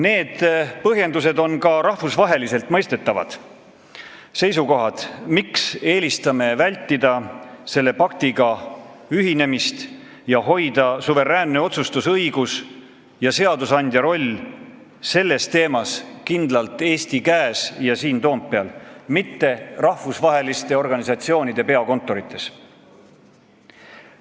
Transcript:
Need põhjendused on ka rahvusvaheliselt mõistetavad seisukohad, miks eelistame vältida selle paktiga ühinemist ning hoida suveräänset otsustusõigust selle teema puhul kindlalt Eesti käes ja seadusandja rolli tähtsustades siin Toompeal, mitte rahvusvaheliste organisatsioonide peakontorites.